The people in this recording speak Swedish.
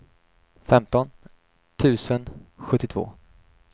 femton tusen sjuttiotvå